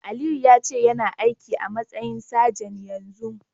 Aliyu yace yana aiki a'matsayin sajan yanzun.